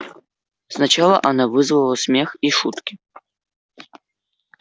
сначала она вызвала смех и шутки